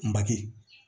Make